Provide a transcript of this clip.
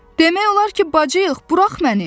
Demək olar ki, bacıyıq, burax məni!